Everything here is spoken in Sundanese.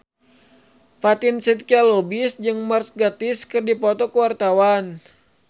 Fatin Shidqia Lubis jeung Mark Gatiss keur dipoto ku wartawan